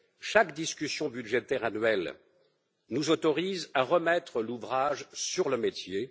Chaque discussion budgétaire annuelle nous autorise à remettre l'ouvrage sur le métier.